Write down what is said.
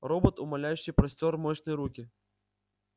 робот умоляюще простёр мощные руки